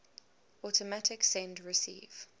automatic send receive